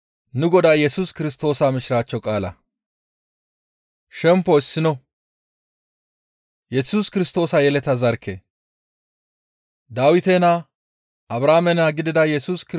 Dawite naa, Abrahaame naa gidida Yesus Kirstoosa yeleta zarkkey hayssafe kaallizayssa;